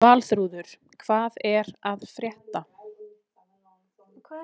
Valþrúður, hvað er að frétta?